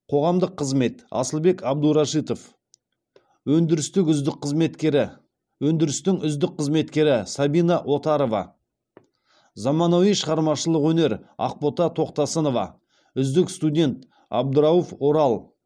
қоғамдық қызмет асылбек әбдурашитов өндірістік үздік қызметкері өндірістің үздік қызметкері сабина отарова заманауи шығармашылық өнер ақбота тоқтасынова үздік студент абдрауф орал